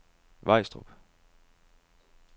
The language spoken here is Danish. Vejstrup